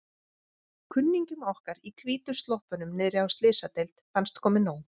Kunningjum okkar í hvítu sloppunum niðri á Slysadeild fannst komið nóg.